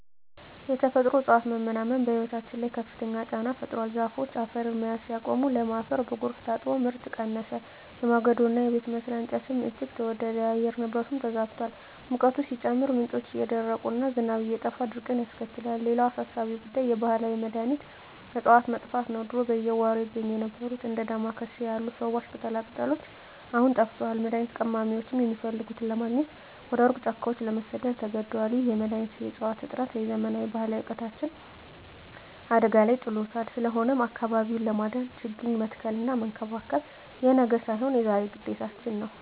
የተፈጥሮ እፅዋት መመናመን በሕይወታችን ላይ ከፍተኛ ጫና ፈጥሯል። ዛፎች አፈርን መያዝ ሲያቆሙ፣ ለም አፈር በጎርፍ ታጥቦ ምርት ቀነሰ፤ የማገዶና የቤት መስሪያ እንጨትም እጅግ ተወደደ። የአየር ንብረቱም ተዛብቷል፤ ሙቀቱ ሲጨምር፣ ምንጮች እየደረቁና ዝናብ እየጠፋ ድርቅን ያስከትላል። ሌላው አሳሳቢ ጉዳይ የባህላዊ መድኃኒት እፅዋት መጥፋት ነው። ድሮ በየጓሮው ይገኙ የነበሩት እንደ ዳማ ኬሴ ያሉ ፈዋሽ ቅጠላቅጠሎች አሁን ጠፍተዋል፤ መድኃኒት ቀማሚዎችም የሚፈልጉትን ለማግኘት ወደ ሩቅ ጫካዎች ለመሰደድ ተገደዋል። ይህ የመድኃኒት እፅዋት እጥረት የዘመናት ባህላዊ እውቀታችንን አደጋ ላይ ጥሎታል። ስለሆነም አካባቢውን ለማዳን ችግኝ መትከልና መንከባከብ የነገ ሳይሆን የዛሬ ግዴታችን ነው።